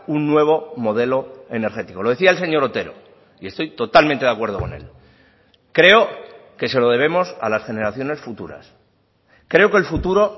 un nuevo modelo energético lo decía el señor otero y estoy totalmente de acuerdo con él creo que se lo debemos a las generaciones futuras creo que el futuro